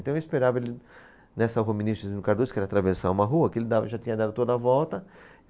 Então eu esperava ele nessa Rua Ministro Cezino Cardoso, que era atravessar uma rua, que ele dava já tinha dado toda a volta.